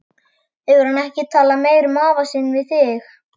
Hefur hann ekkert talað meira um afa sinn við þig?